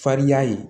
Farinya ye